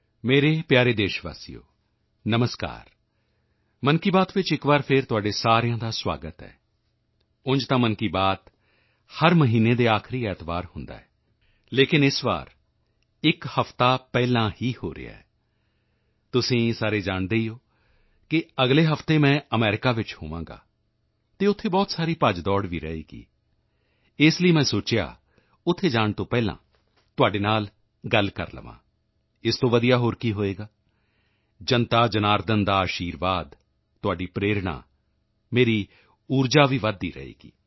ਮੇਰੇ ਪਿਆਰੇ ਦੇਸ਼ਵਾਸੀਓ ਨਮਸਕਾਰ ਮਨ ਕੀ ਬਾਤ ਵਿੱਚ ਇੱਕ ਵਾਰ ਫਿਰ ਤੁਹਾਡੇ ਸਾਰਿਆਂ ਦਾ ਸੁਆਗਤ ਹੈ ਉਂਝ ਤਾਂ ਮਨ ਕੀ ਬਾਤ ਹਰ ਮਹੀਨੇ ਦੇ ਆਖਰੀ ਐਤਵਾਰ ਹੁੰਦਾ ਹੈ ਲੇਕਿਨ ਇਸ ਵਾਰੀ ਇੱਕ ਹਫ਼ਤਾ ਪਹਿਲਾਂ ਹੀ ਹੋ ਰਿਹਾ ਹੈ ਤੁਸੀਂ ਸਾਰੇ ਜਾਣਦੇ ਹੀ ਹੋ ਕਿ ਅਗਲੇ ਹਫ਼ਤੇ ਮੈਂ ਅਮਰੀਕਾ ਵਿੱਚ ਹੋਵਾਂਗਾ ਅਤੇ ਉੱਥੇ ਬਹੁਤ ਸਾਰੀ ਭੱਜਦੌੜ ਵੀ ਰਹੇਗੀ ਇਸ ਲਈ ਮੈਂ ਸੋਚਿਆ ਉੱਥੇ ਜਾਣ ਤੋਂ ਪਹਿਲਾਂ ਤੁਹਾਡੇ ਨਾਲ ਗੱਲ ਕਰ ਲਵਾਂ ਇਸ ਤੋਂ ਵਧੀਆ ਹੋਰ ਕੀ ਹੋਵੇਗਾ ਜਨਤਾਜਨਾਰਦਨ ਦਾ ਅਸ਼ੀਰਵਾਦ ਤੁਹਾਡੀ ਪ੍ਰੇਰਣਾ ਮੇਰੀ ਊਰਜਾ ਵੀ ਵਧਦੀ ਰਹੇਗੀ